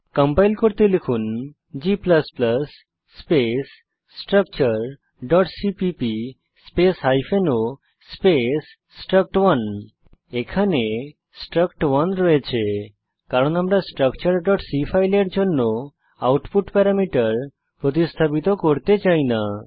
compile করতে লিখুন g space structureসিপিপি space hyphen o space struct one এখানে স্ট্রাক্ট1 আছে কারণ আমরা structureসি ফাইলের জন্য আউটপুট প্যারামিটার প্রতিস্থাপিত করতে চাই না